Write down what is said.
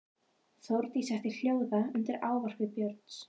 Þórdísi setti hljóða undir ávarpi Björns.